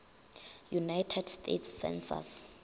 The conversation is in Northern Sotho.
united states census